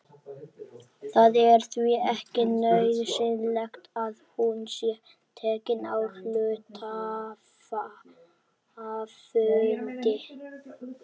Það er því ekki nauðsynlegt að hún sé tekin á hluthafafundi.